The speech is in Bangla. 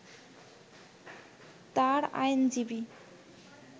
তার আইনজীবী